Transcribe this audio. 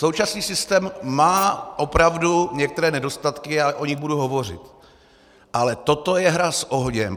Současný systém má opravdu některé nedostatky, já o nich budu hovořit, ale toto je hra s ohněm.